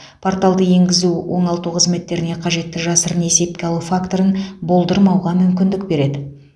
порталды енгізу оңалту қызметтеріне қажетті жасырын есепке алу факторын болдырмауға мүмкіндік береді